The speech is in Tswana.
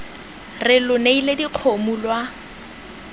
re lo neile dikgomo lwa